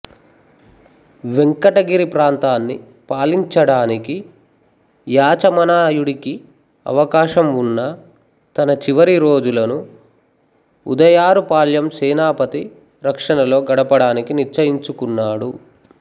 వెంకటగిరి ప్రాంతాన్ని పాలించడానికి యాచమనాయుడికి అవకాశం వున్నా తన చివరి రోజులను ఉదయారుపాళ్యం సేనాపతి రక్షణలో గడపడానికి నిశ్చయించుకున్నాడు